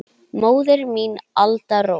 Móðir mín, Alda Rós.